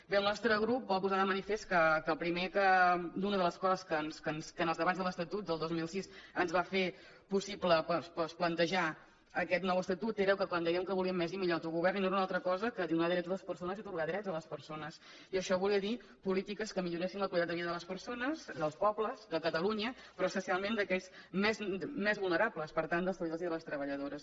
bé el nostre grup vol posar de manifest primer que una de les coses que en els debats de l’estatut del dos mil sis ens va fer possible plantejar aquest nou estatut era quan dèiem que volíem més i millor autogovern i no era una altra cosa que donar drets a les persones i atorgar drets a les persones i això volia dir polítiques que milloressin la qualitat de vida de les persones dels pobles de catalunya però especialment d’aquells més vulnerables per tant dels treballadors i de les treballadores